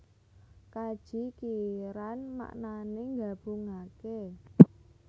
Kaji Qiran maknané nggabungaké